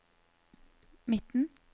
midten